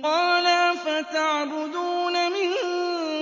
قَالَ أَفَتَعْبُدُونَ مِن